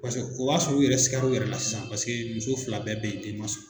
Paseke o b'a sɔrɔ' u yɛrɛ sikala u yɛrɛ la sisan paseke muso fila bɛɛ bɛ yen den ma sɔrɔ.